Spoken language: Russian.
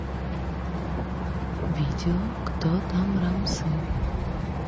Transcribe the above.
видео кто там рамсы